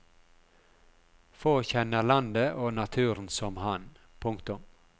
Få kjenner landet og naturen som han. punktum